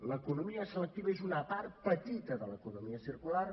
l’economia selectiva és una part petita de l’economia circular